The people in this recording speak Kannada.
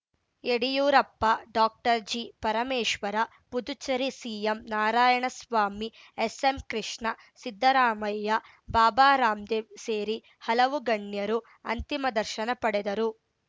ಯಡಿಯೂರಪ್ಪ ಡಾಕ್ಟರ್ ಜಿಪರಮೇಶ್ವರ ಪುದುಚೇರಿ ಸಿಎಂ ನಾರಾಯಣಸ್ವಾಮಿ ಎಸ್‌ಎಂಕೃಷ್ಣ ಸಿದ್ದರಾಮಯ್ಯ ಬಾಬಾ ರಾಮದೇವ್‌ ಸೇರಿ ಹಲವು ಗಣ್ಯರು ಅಂತಿಮ ದರ್ಶನ ಪಡೆದರು